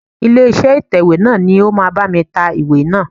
Ilé iṣẹ́ ìtẹ̀wẹ́ náà ni ó máa bá mi ta ìwé náà.